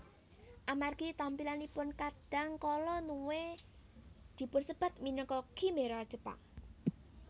Amargi tampilanipun kadang kala Nue dipunsebat minangka khimera Jepang